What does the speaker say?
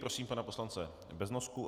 Prosím pana poslance Beznosku.